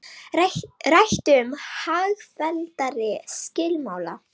Rætt um hagfelldari skilmála